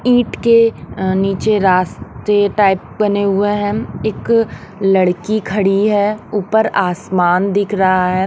ईंट के अ नीचे रास्ते टाइप बने हुए हैं इक लड़की खड़ी है ऊपर आसमान दिख रहा है।